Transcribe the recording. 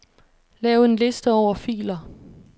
Lav en liste over filer.